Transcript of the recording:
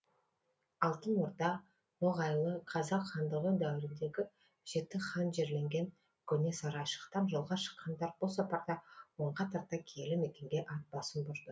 алтын орда ноғайлы қазақ хандығы дәуіріндегі жеті хан жерленген көне сарайшықтан жолға шыққандар бұл сапарда онға тарта киелі мекенге ат басын бұрды